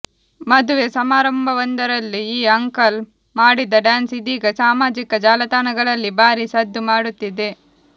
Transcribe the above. ಮದುವೆ ಸಮಾರಂಭವೊಂದರಲ್ಲಿ ಈ ಅಂಕಲ್ ಮಾಡಿದ ಡ್ಯಾನ್ಸ್ ಇದೀಗ ಸಾಮಾಜಿಕ ಜಾಲತಾಣಗಳಲ್ಲಿ ಭಾರೀ ಸದ್ದು ಮಾಡುತ್ತಿದೆ